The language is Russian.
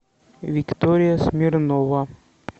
виктория смирнова